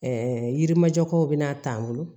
yirimajɔkaw bɛna ta an bolo